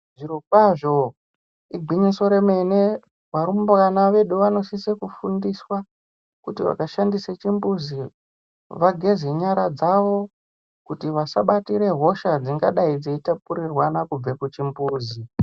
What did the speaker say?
Zvirokwazvo igwinyiso romene, varumbwana vedu vanosise kufundiswa kuti vakashandise chimbuzi vageze nyara dzavo kuti vasabatire hosha dzingadai dzeitapuriranwa kubva kuchimbuzi.